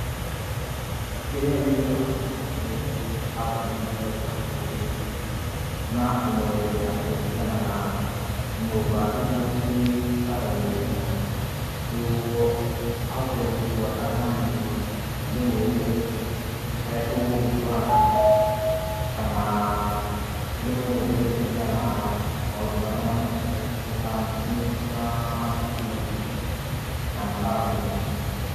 Kĩrĩa ĩngĩrora mũno nĩ taonĩ ĩrĩa e hakuhe na kũmwerethera kũringana na nyũmba ĩrĩa cíi bara-inĩ ĩyo, nĩguo ahote gũcifuata, nanĩe ndĩmũire haria tũgũgĩkorana, kana ndĩmũererethere kũringana na maũndũ maria manene mekwo, ta macukuru na makambuni.